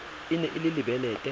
e ne e le lebelete